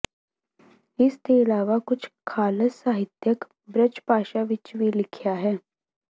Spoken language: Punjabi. ਇਸ ਦੇ ਇਲਾਵਾ ਕੁਝ ਖਾਲਸ ਸਾਹਿਤਿਅਕ ਬਰਜਭਾਸ਼ਾ ਵਿੱਚ ਵੀ ਲਿਖਿਆ ਹੈ